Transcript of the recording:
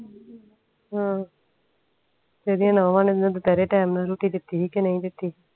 ਆਹ ਏਡੀਆਂ ਨੂੰਹਾਂ ਨੇ ਇਹਨੂੰ ਦੁਪਹਿਰੇ ਟੈਮ ਨਾਲ ਰੋਟੀ ਦਿਤੀ ਸੀ ਕੇ ਨਹੀਂ ਦਿਤੀ